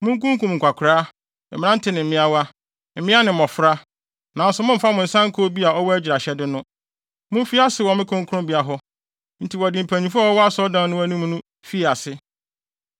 Munkunkum nkwakoraa, mmerante ne mmeawa, mmea ne mmofra, nanso mommfa mo nsa nka obi a ɔwɔ agyiraehyɛde no. Mumfi ase wɔ me kronkronbea hɔ.” Enti wɔde mpanyimfo a wɔwɔ asɔredan no anim no fii ase.